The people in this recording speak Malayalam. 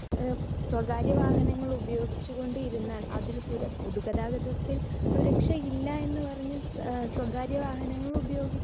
സ്പീക്കർ 2 ഏഹ് സ്വകാര്യവാഹനങ്ങൾ ഉപയോഗിച്ചു കൊണ്ടിരുന്നാൽ അതിൽ സുര പൊതു ഗതാഗതത്തിൽ സുരക്ഷയില്ലയെന്ന് പറഞ്ഞ് ഏഹ് സ്വകാര്യവാഹനങ്ങൾ ഉപയോഗി